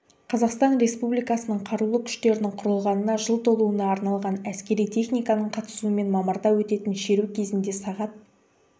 қазақстан республикасының қарулы күштерінің құрылғанына жыл толуына арналған әскери техниканың қатысуымен мамырда өтетін шеру кезінде сағат